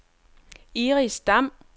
Iris Dam